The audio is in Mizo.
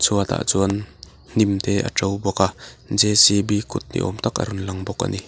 chhuatah chuan hnim te a ṭo bawk a j c b kut ni awm tak a rawn lang bawk a ni.